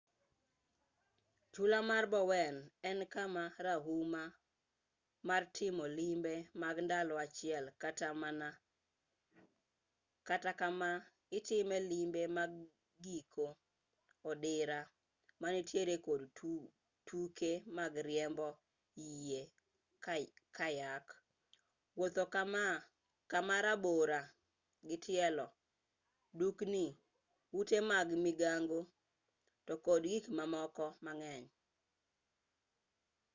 chula mar bowen en kama rahuma mar timo limbe mag ndalo achiel kata kama itime limbe mag giko odira ma nitiere kod tuke mag riembo yie kayak wuotho kama rabora gi tielo dukni ute mag migago to kod gik mamoko mang'eny